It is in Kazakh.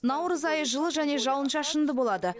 наурыз айы жылы және жауын шашынды болады